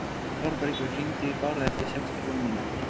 Þórbergur, hringdu í Bárð eftir sextíu og fimm mínútur.